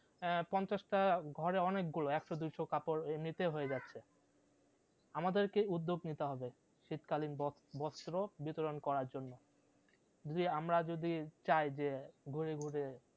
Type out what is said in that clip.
আহ পঞ্চাশটা ঘরে অনেক গুলো একশো দুইশো কাপড় এমনিতেই হয়ে যাচ্ছে আমাদেরকেই উদ্যোগ নিতে হবে, শীত কালীন বস বস্ত্র বিতরণ করার জন্য যে আমরা যদি চাই যে গরিবদের